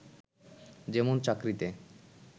যেমন চাকরিতে